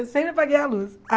Eu sempre apaguei a luz.